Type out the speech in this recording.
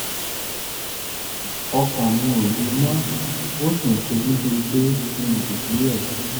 ọkàn mi ò le mọ́ ó sì ń ṣe mí bíi pé kí n dùbúlẹ̀